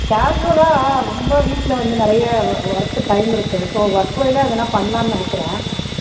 casual லா ரொம்ப வீட்டுல வந்து நிறைய worth time நிறைய இருக்கு. so வேணா எதனா பண்ணலாம்னு நினைக்கிறேன்.